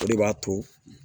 O de b'a to